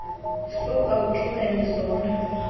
suka uthumele zona